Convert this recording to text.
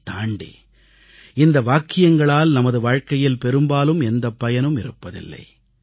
இதைத் தாண்டி இந்த வாக்கியங்களால் நமது வாழ்க்கையில் பெரும்பாலும் எந்தப் பயனும் இருப்பதில்லை